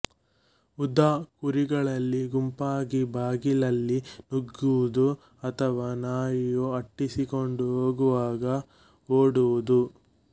ಉದಾ ಕುರಿಗಳಲ್ಲಿ ಗುಂಪಾಗಿ ಬಾಗಿಲಲ್ಲಿ ನುಗ್ಗುವುದು ಅಥವಾ ನಾಯಿಯು ಅಟ್ಟಿಸಿಕೊಂಡು ಹೋಗುವಾಗ ಓಡುವುದು